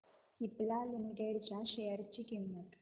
Cipla limited च्या share ची किंमत